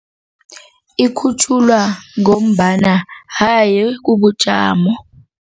Ikhutjhulwa ngombana haye kubujamo.